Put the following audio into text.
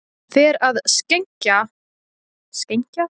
Fer að skenkja kaffi í litla bolla